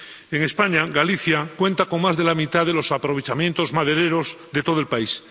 En España, Galicia cuenta con más de la mitad de los aprovechamientos madereros de todo el país.